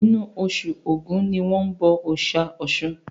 Inú osù ògún ni wọ́n bọ òòsà Ọ̀sun